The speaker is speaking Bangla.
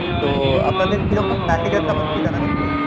তো আপনাদের কীরকম package আছে আমাকে একটু জানাবেন please